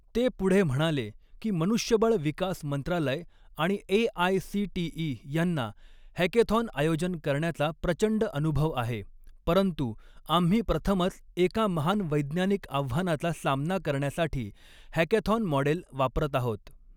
ते पुढे म्हणाले की मनुष्यबळ विकास मंत्रालय आणि एआयसीटीई यांना हॅकॆथॉन आयोजन करण्याचा प्रचंड अनुभव आहे, परंतु आम्ही प्रथमच एका महान वैज्ञानिक आव्हानाचा सामना करण्यासाठी हॅकॅथॉन मॉडेल वापरत आहोत.